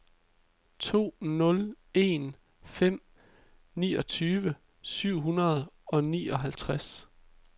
to nul en fem niogtyve syv hundrede og nioghalvtreds